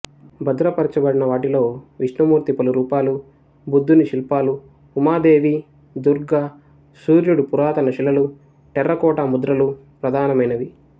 బధ్రపరచబడిన వాటిలో విష్ణుమూర్తి పలు రూపాలు బుద్ధుని శిల్పాలు ఉమదేవి దుర్గ సూర్యుడు పురాతన శిలలు టెర్రకోటా ముద్రలు ప్రధానమైనవి